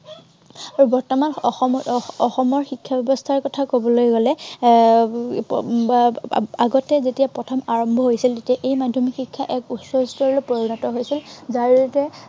আৰু আহ বৰ্তমান অসমত, উম অসমৰ শিক্ষা ব্য়ৱস্থাৰ কথা কবলৈ গলে, উম বা আহ আগতে যেতিয়া প্ৰথম আৰম্ভ হৈছিল, তেতিয়া এই মাধ্য়মিক শিক্ষা এক উচ্চ স্তৰলৈ পৰিনত হৈছিল, যাৰ জড়িয়তে